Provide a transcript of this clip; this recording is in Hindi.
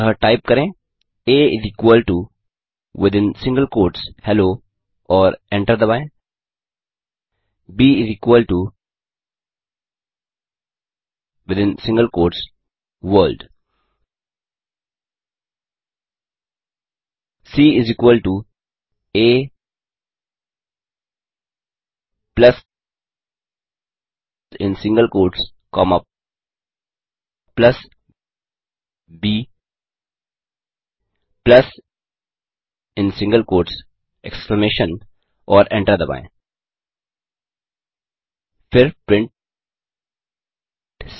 अतः टाइप करें आ विथिन सिंगल क्वोट्स हेलो और एंटर दबाएँ ब within single quotes world c आ plus in single quotes comma plus ब plus in single quotes exclamation और एंटर दबाएँ फिर प्रिंट सी